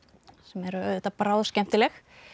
sem eru auðvitað bráðskemmtileg